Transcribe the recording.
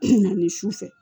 Na ni sufɛ